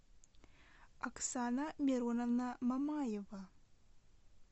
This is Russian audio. оксана мироновна мамаева